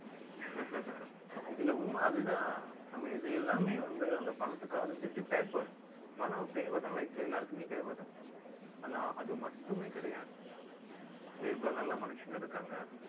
இல்லை, உண்மை அதுதான். நம்ம இது எல்லாமே வந்து, அந்த பணத்துக்கு, அது just paper பணம் தேவைதான், life ல எல்லாருக்குமே தேவைதான். ஆனா, அது மட்டுமே கிடையாது. எவ்வளவு நல்ல மனுஷங்க இருக்காங்க